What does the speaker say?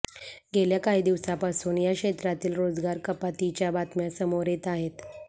गेल्या काही दिवसांपासून या क्षेत्रातील रोजगार कपातीच्या बातम्या समोर येत आहेत